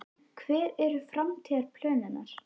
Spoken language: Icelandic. Hver eru framtíðarplön hennar?